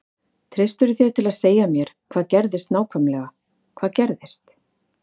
Treystirðu þér til að segja mér hvað gerðist nákvæmlega hvað gerðist?